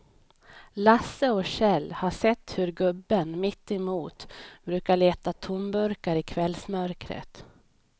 Lasse och Kjell har sett hur gubben mittemot brukar leta tomburkar i kvällsmörkret.